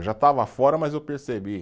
Eu já estava fora, mas eu percebi.